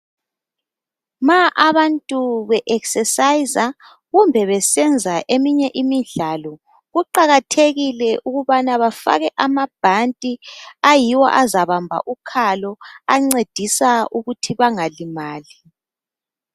Ma abantu be ekhisesayiza kumbe besenza eminye imidlalo, kuqakathekile ukubana bafake amabhandi, ayiwo azabamba ukhalo ancedisa ukuthi bangalimali